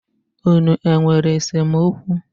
Unu e nwere esemokwu?